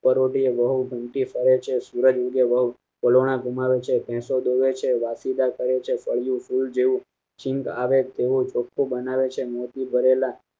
પરોઢિયે બહુ ગમતી ફરે છે સુરજ ઉગે વહુ વલોણાં ઘુંમાવે છે ભેંસો દોવે છે વાસીદા કરે છે પડ્યું ભૂલ જેવું સિંગ આવે તેવું ચોખ્ખું બનાવે છે મોતી ભરેલા